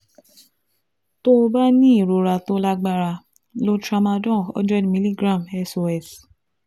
Tó o bá ní ìrora tó lágbára, lo tramadol 100 mg SOS